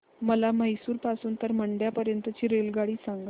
मला म्हैसूर पासून तर मंड्या पर्यंत ची रेल्वेगाडी सांगा